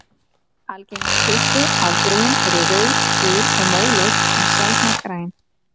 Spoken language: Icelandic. Algengustu afbrigðin eru rauð-, gul- og móleit en sjaldnar græn.